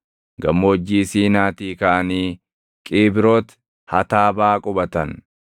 Gammoojjii Siinaatii kaʼanii Qiibrooti Hataabaa qubatan.